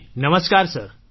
જી નમસ્કાર સર